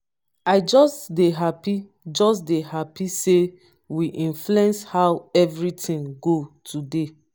i just dey happy just dey happy say we influence how everything go today